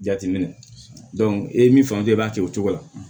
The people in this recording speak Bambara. Jateminɛ e ye min faamu i b'a kɛ o cogo la